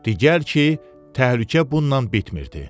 Digər ki, təhlükə bununla bitmirdi.